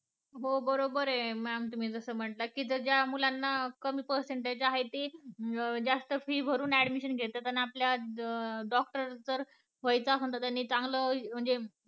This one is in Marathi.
हो बरोबर आहे ma'am तुम्ही जस म्हणताय की ज्या मुलांना कमी percentage आहेत ते आणि जास्त fee भरून admission घेतात आणि आपल्या doctor जर व्हायचं असेल तर चांगले म्हणजे